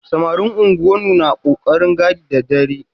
Samarin unguwannu na ƙoƙarin gadi da dare.